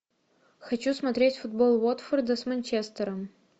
хочу смотреть футбол уотфорда с манчестером